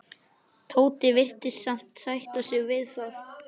Tóti virtist alveg sætta sig við það.